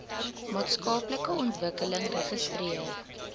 maatskaplike ontwikkeling registreer